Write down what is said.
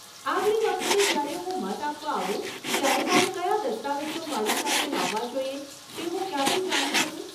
આગલી વખતે જ્યારે હું મત આપવા આવું ત્યારે મારે કયા દસ્તાવેજો મારી સાથે લાવવા જોઈએ તે હું ક્યાંથી જાણી શકું?